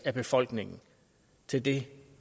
af befolkningen til det